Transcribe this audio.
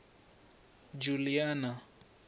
juliana